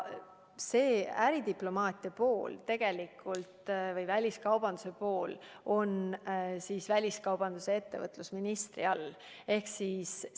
Äridiplomaatia ehk väliskaubanduse valdkond on väliskaubandus- ja ettevõtlusministri pädevuses.